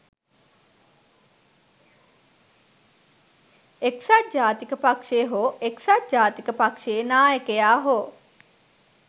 එක්සත් ජාතික පක්ෂය හෝ එක්සත් ජාතික පක්ෂයේ නායකයා හෝ